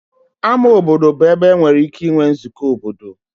Ama obodo bụ ebe enwere ike inwe nzukọ obodo.